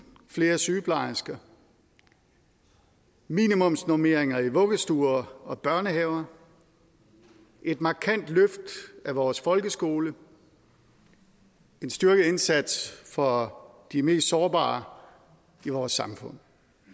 flere sygeplejersker minimumsnormeringer i vuggestuer og børnehaver et markant løft af vores folkeskole en styrket indsats for de mest sårbare i vores samfund